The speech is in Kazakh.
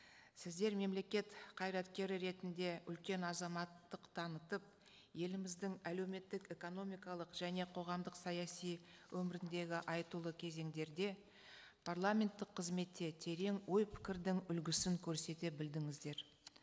сіздер мемлекет қайраткері ретінде үлкен азаматтық танытып еліміздің әлеуметтік экономикалық және қоғамдық саяси өміріндегі айтулы кезеңдерде парламенттік қызметте терең ой пікірдің үлгісін көрсете білдіңіздер